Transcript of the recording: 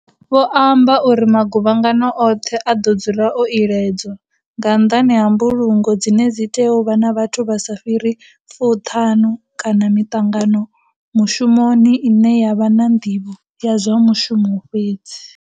Vho amba uri, Maguvhangano oṱhe a ḓo dzula o iledzwa, nga nnḓani ha mbulungo dzine dzi tea u vha na vhathu vha sa fhiriho 50 kana miṱangano mushumoni ine ya vha na ndivho ya zwa mushumo fhedzi.